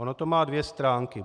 Ono to má dvě stránky.